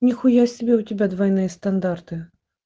нихуя себе у тебя двойные стандарты